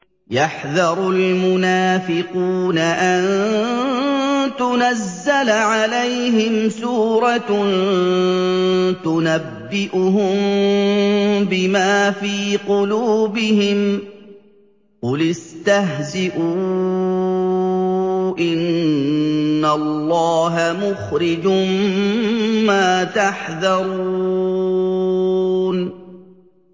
يَحْذَرُ الْمُنَافِقُونَ أَن تُنَزَّلَ عَلَيْهِمْ سُورَةٌ تُنَبِّئُهُم بِمَا فِي قُلُوبِهِمْ ۚ قُلِ اسْتَهْزِئُوا إِنَّ اللَّهَ مُخْرِجٌ مَّا تَحْذَرُونَ